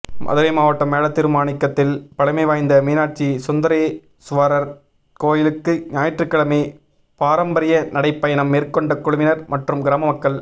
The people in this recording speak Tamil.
மதுரை மாவட்டம் மேலத்திருமாணிக்கத்தில் பழமைவாய்ந்த மீனாட்சி சுந்தரேசுவரா் கோயிலுக்கு ஞாயிற்றுக்கிழமை பாரம்பரிய நடைபயணம் மேற்கொண்ட குழுவினா் மற்றும் கிராம மக்கள்